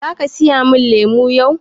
Zaka siya mun lemu yau?